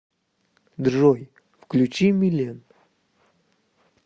джой включи милен